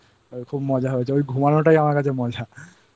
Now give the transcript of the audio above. খুব মজা হয়েছে ওই ঘুমানোটাই আমার কাছে মজা।